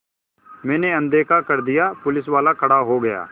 मैंने अनदेखा कर दिया पुलिसवाला खड़ा हो गया